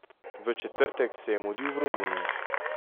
V četrtek se je mudil v Romuniji.